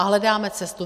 A hledáme cestu.